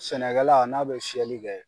Sɛnɛ kɛla n'a bɛ fiyɛli kɛ.